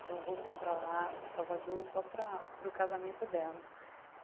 Então, voltei para lá, para Salvador, só para para o casamento dela.